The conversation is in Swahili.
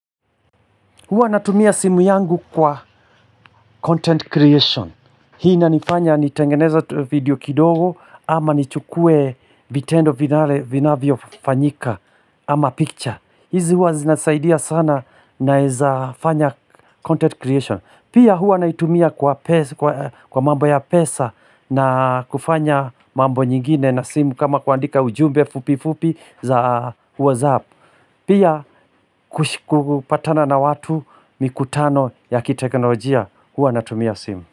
Huwa natumia simu yangu kwa content creation. Hii inanifanya nitengeneze video kidogo ama nichukue vitendo vinavyofanyika ama picture. Hizi huwa zinasaidia sana naeza fanya content creation. Pia huwa naitumia kwa mambo ya pesa na kufanya mambo nyingine na simu kama kuandika ujumbe fupi fupi za whatsapp. Pia kupatana na watu mikutano ya kiteknolojia huwa natumia simu.